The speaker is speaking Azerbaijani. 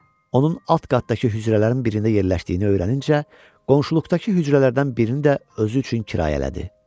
Onun alt qatdakı hücrələrin birində yerləşdiyini öyrənincə, qonşuluqdakı hücrələrdən birini də özü üçün kirayələdi.